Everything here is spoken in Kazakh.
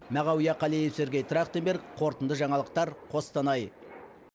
мағауия қалиев сергей трахтенберг қорытынды жаңалықтар қостанай